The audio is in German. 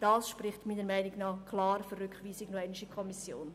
Dies spricht meiner Meinung nach klar für eine Rückweisung in die Kommission.